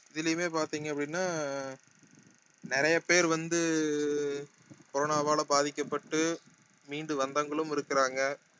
இதுலயுமே பாத்தீங்க அப்படின்னா நிறைய பேர் வந்து அஹ் corona வால பாதிக்கப்பட்டு மீண்டு வந்தவங்களும் இருக்குறாங்க